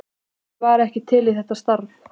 Hver væri ekki til í þetta starf?